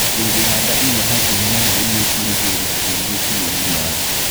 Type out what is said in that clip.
ũngĩhanda igwa hakuhĩ na rũĩ nĩ ũkũrigĩrĩria tĩĩri gũkuo nĩ maĩ.